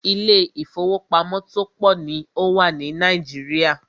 Ilé ìfọwọ́pamo tó pọ̀ ní o wà ní Nàìjíríà.